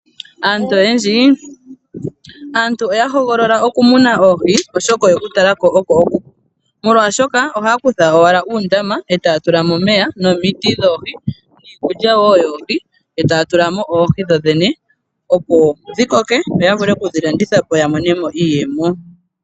Aantu oyendji oya hoogolola oku muna oohi oshoka oyeku talako oko okupu. Molwaashoka aantu ohaya kula owala uundama etaya tulamo omeya nomiti dhoohi niikulya woo yoohi etaya tulamo oohi dho dhene opo dhi koke yo ya vule oku dhi landitha po ya monemo iiyemo.